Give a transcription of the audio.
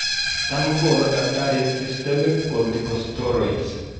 Tam kogonu takitariek systemic corticosteroids